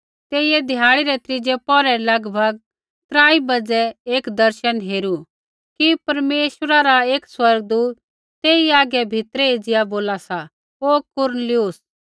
तेइयै ध्याड़ी रै त्रीज़ै पौहरै रै लगभग त्राई बज़ै एक दर्शन हेरू कि परमेश्वरा रा एक स्वर्गदूत तेई हागै भीतरै एज़िया बोला सा हे कुरनेलियुस